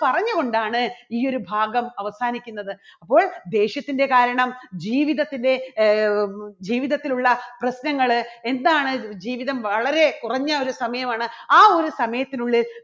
പറഞ്ഞുകൊണ്ടാണ് ഈ ഒരു ഭാഗം അവസാനിക്കുന്നത്. അപ്പോൾ ദേഷ്യത്തിന്റെ കാരണം ജീവിതത്തിലെ ആഹ് ജീവിതത്തിലുള്ള പ്രശ്നങ്ങള് എന്താണ് ജീവിതം വളരെ കുറഞ്ഞ ഒരു സമയമാണ്. ആ ഒരു സമയത്തിനുള്ളിൽ